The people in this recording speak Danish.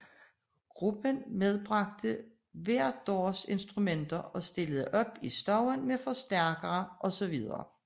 Gruppen medbragte hver deres instrumenter og stillede op i stuen med forstærkere osv